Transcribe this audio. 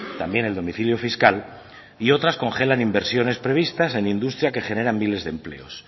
también el domicilio fiscal y otras congelan inversiones previstas en industria que genera miles de empleo